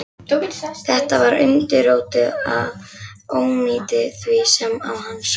Þetta var undirrótin að óyndi því, sem á hann sótti.